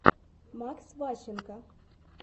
макс ващенко